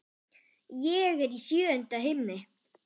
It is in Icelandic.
Ég er í sjöunda himni.